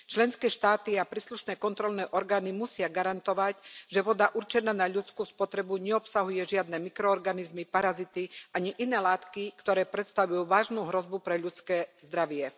Členské štáty a príslušné kontrolné orgány musia garantovať, že voda určená na ľudskú spotrebu neobsahuje žiadne mikroorganizmy, parazity ani iné látky, ktoré predstavujú vážnu hrozbu pre ľudské zdravie.